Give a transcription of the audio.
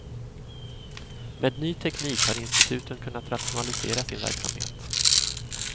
Med ny teknik har instituten kunnat rationalisera sin verksamhet.